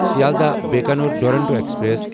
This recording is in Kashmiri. سیلدہ بکانٮ۪ر دورونٹو ایکسپریس